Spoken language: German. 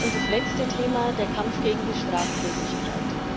Das letzte Thema der Kampf gegen die Straflosigkeit.